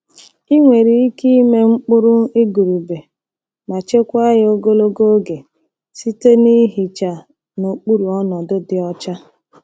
Ị nwere ike ịme mkpụrụ igurube ma chekwaa ya ogologo oge site na ihicha n'okpuru ọnọdụ dị ọcha.